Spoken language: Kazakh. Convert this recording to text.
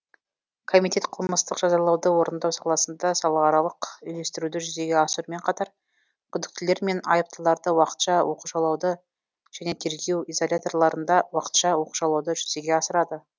комитет қылмыстық жазалауды орындау саласында салааралық үйлестіруді жүзеге асырумен қатар күдіктілер мен айыптыларды уақытша оқшаулауды және тергеу изоляторларында уақытша оқшаулауды жүзеге асырады